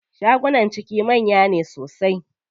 Shagunan ciki manya ne sosai.